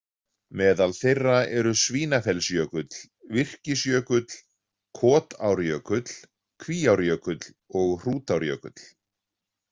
Meðal þeirra eru Svínafellsjökull, Virkisjökull, Kotárjökull, Kvíárjökull og Hrútárjökull.